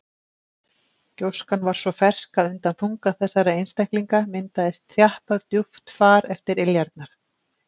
Gjóskan var svo fersk að undan þunga þessara einstaklinga myndaðist þjappað djúpt far eftir iljarnar.